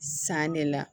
San de la